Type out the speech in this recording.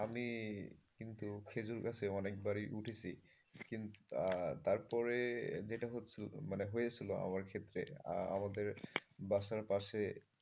আমি কিন্তু খেজুর গাছে অনেকবারই উঠেছি কিন্তু তারপরে যেটা হচ্ছিল মানে হয়েছিল হয়েছিল আমার ক্ষেত্রে আমাদের বাসার পাশে,